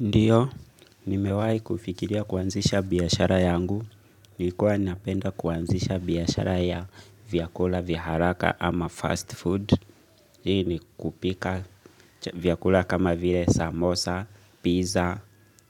Ndio, nimewahi kufikiria kuanzisha biashara yangu. Nilikuwa ninapenda kuanzisha biashara ya vyakula vya haraka ama 'fast food'. Hii ni kupika vyakula kama vile samosa, pizza